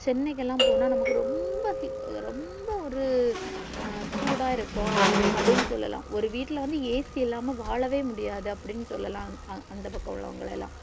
சென்னைக்குலா போனா நமக்கு ரொம்ப heat ரொம்ப ஒரு சூடா இருப்போ அப்டி சொல்லல்லா ஒரு வீட்டுல்ல வந்து AC இல்லாம்ம வாழவே முடியாது அப்டி சொல்லலா அந்த பக்கம் உள்ளவங்கல்லாம்